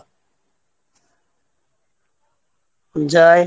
জয়